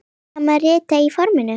Það má rita á forminu